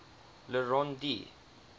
le rond d